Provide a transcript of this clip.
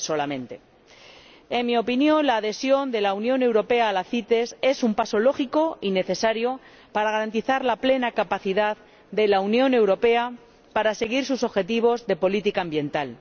En nuestra opinión, la adhesión de la Unión Europea a la CITES es un paso lógico y necesario para garantizar la plena capacidad de la Unión Europea para seguir sus objetivos de política ambiental.